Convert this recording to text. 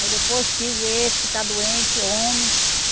Aí depois tive esse que está doente, homem.